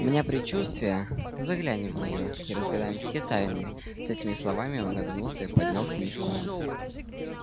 у меня предчувствие заглянем в неё и разгадаем все тайны с этими словами он нагнулся и поднял книжку